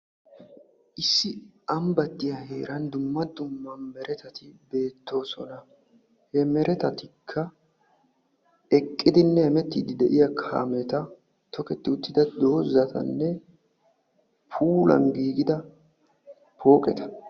issi ambbatiyaa heeran dumma dumma meratati beettoosona, he meretatikka eqqidinne hemetiddi de'iyaa kaameta, tokketi uttida dozatanne puulan giigida pooqeta.